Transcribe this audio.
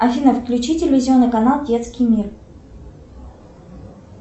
афина включи телевизионный канал детский мир